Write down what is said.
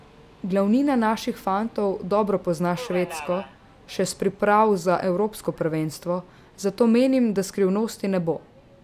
Glavnina naših fantov dobro pozna Švedsko še s priprav za evropsko prvenstvo, zato menim, da skrivnosti ne bo.